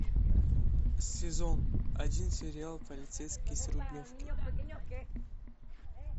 сезон один сериал полицейский с рублевки